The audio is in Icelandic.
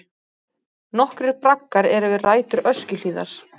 Nokkrir braggar eru við rætur Öskjuhlíðar.